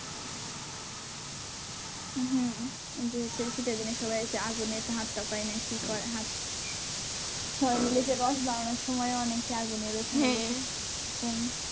হম শীতের দিনে সবাই হচ্ছে যে আগুনে হাত তাপায় না কি করে হাত সবাই মিলে যে রস বানানোর সময় ও অনেকে আগুনের ওখানে